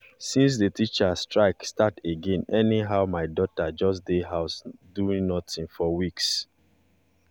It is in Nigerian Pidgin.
since the teachers strike start again anyhow my daughter just dey house doing nothing for weeks